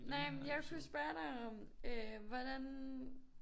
Nej men jeg kunne jo spørge dig om øh hvordan